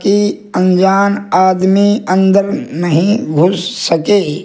कि अनजान आदमी अंदर नहीं घुस सके।